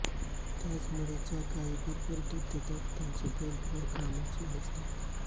त्याचमुळे ज्या गाई भरपूर दूध देतात त्यांचे बैल फार कामाचे नसतात